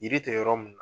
Yiri tɛ yɔrɔ mun na